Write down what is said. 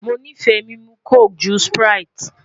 Mo fẹ mimu coke to sprite